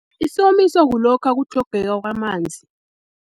Isomiso kulokha kutlhogeka kwamanzi.